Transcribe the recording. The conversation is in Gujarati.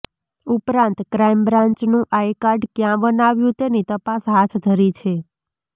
ઉપરાંત ક્રાઈમ બ્રાંચનુ આઈકાર્ડ ક્યાં બનાવ્યુ તેની તપાસ હાથ ધરી છે